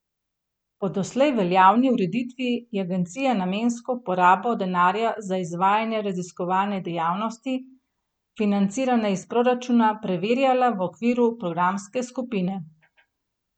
Po doslej veljavni ureditvi je agencija namensko porabo denarja za izvajanje raziskovane dejavnosti, financirane iz proračuna, preverjala v okviru programske skupine.